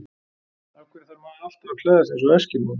Af hverju þarf maður alltaf að klæða sig eins og eskimói?